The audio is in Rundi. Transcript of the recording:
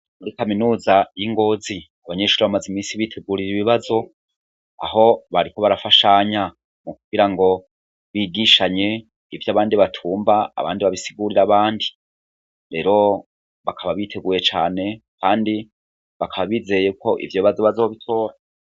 Muri kaminuza yi Ngozi, abanyeshuri bamaze iminsi bitegurira ibibazo aho bariko barafashanya, mu kugirango bigishanye ivyo abandi batumva abandi babibasigurire abandi, rero bakaba biteguye cane kandi bakaba bizeye ko ivyo bibazo bazobitora.